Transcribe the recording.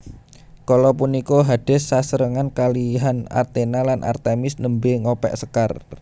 Kala punika Hades sesarengan kalihan Athena lan Artemis nembé ngopeksekar